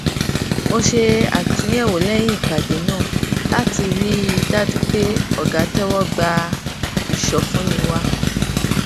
mo ṣe àtúnyẹwò lẹyìn ìpàdé náà láti rí i dájú pé ọga tẹwọ gba ìsọfúnni wa